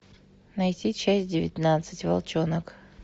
найти часть девятнадцать волчонок